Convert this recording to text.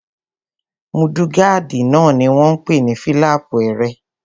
Múdúgáàdì náà ni wọ́n n pè ní fílàpù ẹrẹ̀